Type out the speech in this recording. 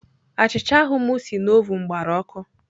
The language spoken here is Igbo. Achịcha ahụ m si na ovụn gbara ọkụ.